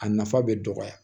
A nafa bɛ dɔgɔya